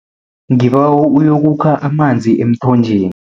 Ngibawa uyokukha amanzi emthonjeni.